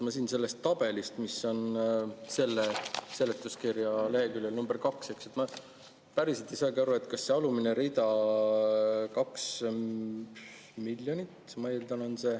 Ma siin sellest tabelist, mis on selle seletuskirja leheküljel nr 2, päriselt ei saagi aru, kas see alumine rida, 2 miljonit, ma eeldan, on …